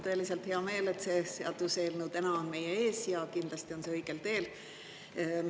Mul on tõeliselt hea meel, et see seaduseelnõu täna on meie ees, ja kindlasti on see õigel teel.